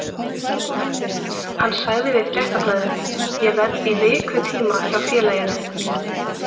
Hann sagði við Fréttablaðið: Ég verð í vikutíma hjá félaginu.